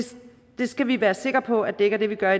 skal vi være sikre på at vi ikke gør